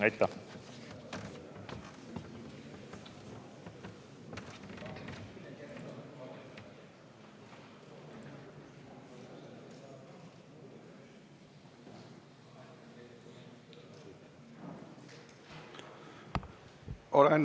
Aitäh!